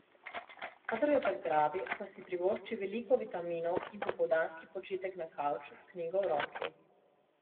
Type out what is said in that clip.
Kadar jo zagrabi, pa si privošči veliko vitaminov in popoldanski počitek na kavču s knjigo v roki.